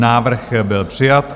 Návrh byl přijat.